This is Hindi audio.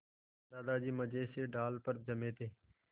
दादाजी मज़े से डाल पर जमे थे